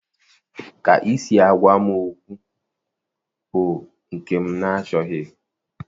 Ka isi agawa m okwu bụ nke m nachọghị.